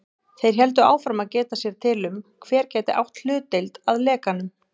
Þeir héldu áfram að geta sér til um, hver gæti átt hlutdeild að lekanum.